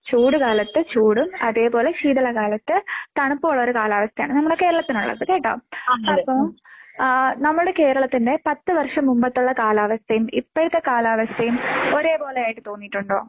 ചൂട് കാലത്ത് ചൂടും അതേപോലെ ശീതളകാലത്ത് തണുപ്പുമുള്ളൊരു കാലാവസ്ഥയാണ്. നമ്മുടെ കേരളത്തിനുള്ളത് കേട്ടോ? അപ്പോ ആഹ് നമ്മുടെ കേരളത്തിന്റെ പത്ത് വർഷം മുമ്പത്തൊള്ള കാലാവസ്ഥയും ഇപ്പോഴത്തെ കാലാവസ്ഥയും ഒരേപോലെയായിട്ട് തോന്നിയിട്ടുണ്ടോ?